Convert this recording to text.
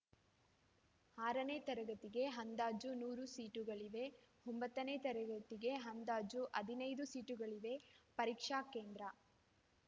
ಆರು ತರಗತಿಗೆ ಅಂದಾಜು ನೂರು ಸೀಟುಗಳಿವೆ ಒಂಬತ್ತನೇ ತರಗತಿಗೆ ಅಂದಾಜು ಹದಿನೈದು ಸೀಟುಗಳಿವೆ ಪರೀಕ್ಷಾ ಕೇಂದ್ರ